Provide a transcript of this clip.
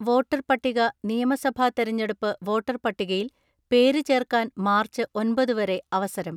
Voter പട്ടിക നിയമസഭാ തെരഞ്ഞെടുപ്പ് വോട്ടർ പട്ടികയിൽ പേര് ചേർക്കാൻ മാർച്ച് ഒൻപത് വരെ അവസരം.